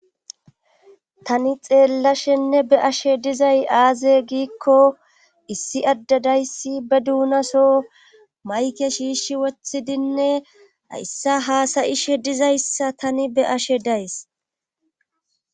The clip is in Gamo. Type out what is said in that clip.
tani xeellashenne be'ashe dizay aaze giikko issi addedayssi be duunaso mayke shiishi wothidinne hayssa haasayishe dizayssa tani be'ashe days